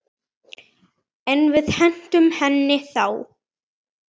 En við hentum henni þá.